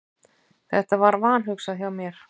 Þetta var vanhugsað hjá mér.